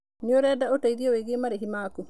Nĩ ũrenda ũteithio wĩgiĩ marĩhi maku?